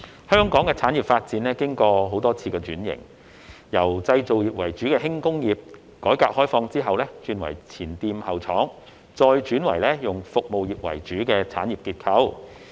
香港的產業發展經過多次轉型，由製造業為主的輕工業，改革開放後轉為前店後廠，再轉為以服務業為主的產業結構。